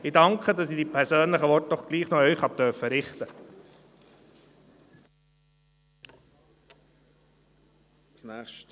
Ich danke, dass ich diese persönlichen Worte gleichwohl noch an Sie richten durfte.